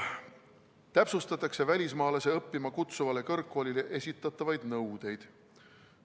Täpsustatakse välismaalasi õppima kutsuvale kõrgkoolile esitatavaid nõudeid.